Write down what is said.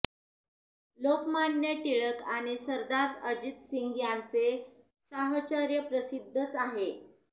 लोकमान्य टिळक आणि सरदार अजितसिंग यांचे साहचर्य प्रसिद्धच आहे